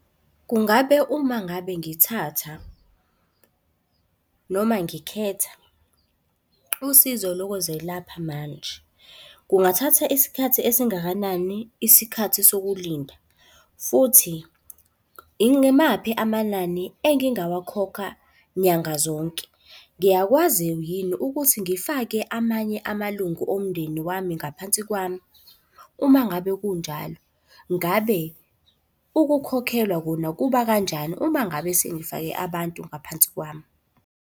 Kungabe uma ngabe ngithatha, noma ngikhetha usizo lokuzelapha manje, kungathatha isikhathi esingakanani isikhathi sokulinda? Futhi yimaphi amanani engingakhokha nyanga zonke? Ngiyakwazi yini ukuthi ngifake amanye amalungu omndeni wami ngaphansi kwami? Uma ngabe kunjalo, ngabe ukukhokhelwa kona kuba kanjani uma ngabe sengifake abantu ngaphansi kwami?